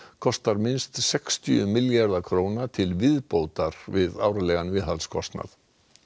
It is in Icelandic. kostar minnst sextíu milljarða króna til viðbótar við árlegan viðhaldskostnað